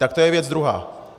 Tak to je věc druhá.